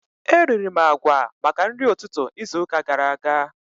Eriri m agwa maka nri ụtụtụ izu ụka gara aga